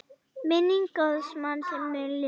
Minning góðs manns mun lifa.